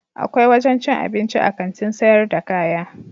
Akwai wajen cin abinci a Kantin sayar da kaya.